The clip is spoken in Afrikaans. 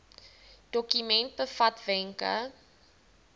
dokument bevat wenke